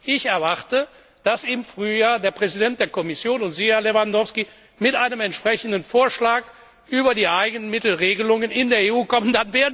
Ich erwarte, dass im Frühjahr der Präsident der Kommission und Sie, Herr Lewandowski, mit einem entsprechenden Vorschlag über die Eigenmittelregelungen in der EU kommen.